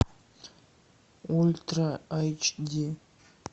ультра эйч ди